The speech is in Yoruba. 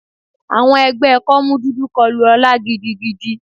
Àwọn ẹgbẹ́ kọ́mú dúdú kọlu ọla gidigidi.